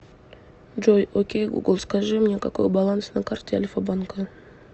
джой окей гугл скажи мне какой баланс на карте альфа банка